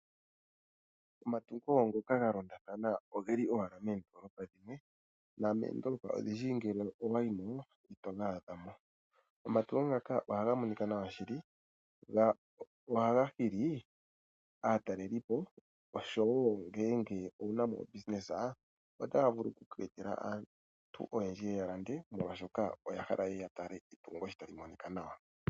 Omatungo ngoka ga londatha na ogeli owala meendolopa dhimwe nomoondolopa odhindji ngele owa yi mo, ito ga adha mo. Omatungo ngaka ohaga monika nawa shili go ohaga hili aatelelipo osho wo ngeenge owuna obusiness otaga vulu okuku etela aantu oyendji ye ye ya lande molwashoka oya hala ye ya tale etungo sho tali monika nawa.